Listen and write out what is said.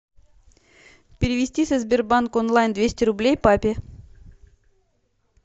перевести со сбербанк онлайн двести рублей папе